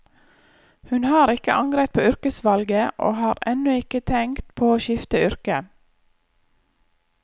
Hun har ikke angret på yrkesvalget, og har ennå ikke tenkt på å skifte yrke.